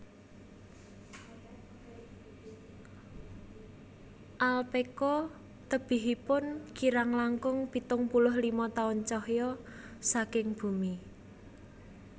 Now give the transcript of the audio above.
Alphekka tebihipun kirang langkung pitung puluh lima taun cahya saking bumi